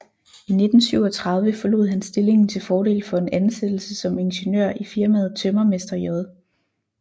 I 1937 forlod han stillingen til fordel for en ansættelse som ingeniør i firmaet Tømrermester J